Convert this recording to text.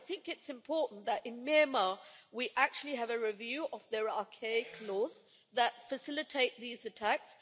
I think it's important that in Myanmar we actually have a review of the archaic laws that facilitate these attacks.